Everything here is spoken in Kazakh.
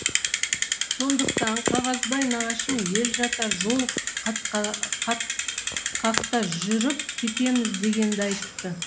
сондықтан қағазбай нағашым ел жата жол қатқақта жүріп кетеміз дегенді айтты